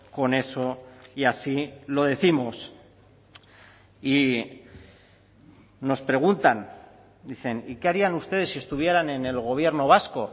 con eso y así lo décimos y nos preguntan dicen y qué harían ustedes si estuvieran en el gobierno vasco